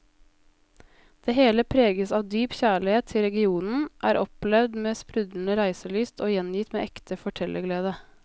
Det hele preges av dyp kjærlighet til regionen, er opplevd med sprudlende reiselyst og gjengitt med ekte fortellerglede.